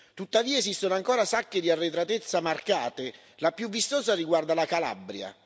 Tuttavia esistono ancora sacche di arretratezza marcate, la più vistosa riguarda la Calabria.